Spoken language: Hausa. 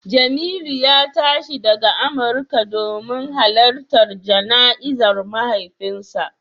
Jemilu ya tashi daga Amurka domin halartar jana'izar mahaifinsa